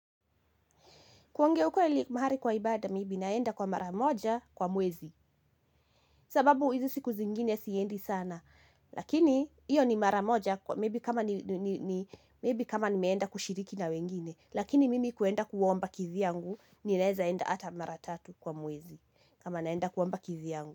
Kuongea ukweli mahali kwa ibada maybe naenda kwa mara moja kwa mwezi. Sababu hiz siku zingine siendi sana. Lakini, hiyo ni mara moja maybe kama nimenda kushiriki na wengine. Lakini mimi kuenda kuomba kivyangu, ninaezaenda hata mara tatu kwa mwezi. Kama naenda kuwa mba kizi yangu.